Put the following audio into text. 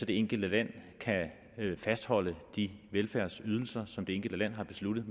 det enkelte land kan fastholde de velfærdsydelser som det enkelte land har besluttet